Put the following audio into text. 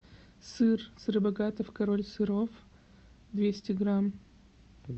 сыр сыробогатов король сыров двести грамм